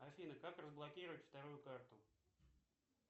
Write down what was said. афина как разблокировать вторую карту